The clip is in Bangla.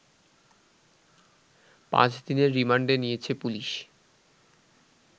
পাঁচ দিনের রিমান্ডে নিয়েছে পুলিশ